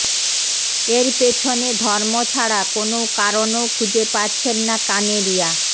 এর পেছনে ধর্ম ছাড়া কোনও কারণও খুঁজে পাচ্ছেন না কানেরিয়া